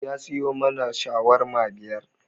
Ya siyo mana shawarma biyar